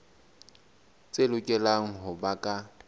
tse lokelang ho ba ka